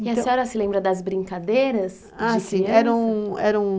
E a senhora se lembra das brincadeiras de criança? Ah, sim. Eram, eram,